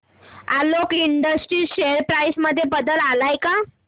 Alok industries share price मध्ये बदल आलाय का